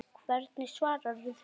Hvernig svararðu því?